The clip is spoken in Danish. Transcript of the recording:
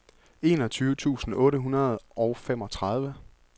enogtyve tusind otte hundrede og femogtredive